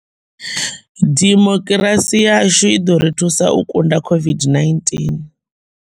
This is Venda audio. Dimokirasi yashu i ḓo ri thusa u kunda COVID -19.